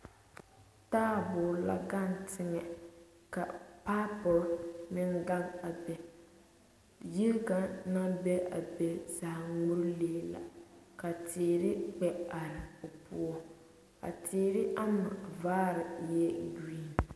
Taaboɔroo la gaŋ teŋɛ, ka pipe-pore meŋ gaŋ a be, yiri kaŋ naŋ be a be zaa ŋmore lee la, ka teere gbɛ are o poɔ, a teere ama vaari ee green